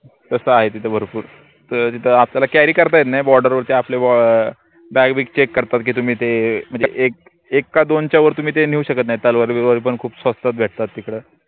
तस आहे तिथे भरपूर त तिथं आपल्याला carry करता येत नाई border वरती आपले अं bag बिग check करतात की तुम्ही ते म्हनजे एक, एक का दोनच्या वर तुम्ही ते नेऊ शकत नाई तलवारी विलवारी पन खूप स्वस्तात भेटतात तिकड